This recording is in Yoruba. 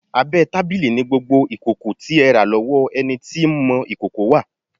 Abẹ́ tábìlì ni gbogbo ìkòkò tí ẹ rà lọ́wọ́ ẹni tí ń mọ ìkòkò wà.